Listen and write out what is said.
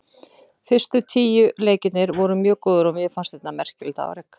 Fyrstu tíu leikirnir voru mjög góðir og mér fannst þetta merkilegt afrek.